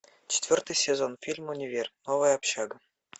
четвертый сезон фильм универ новая общага